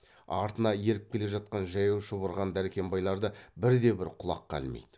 артынан еріп келе жатқан жаяу шұбырған дәркембайларды бірде бір құлаққа ілмейді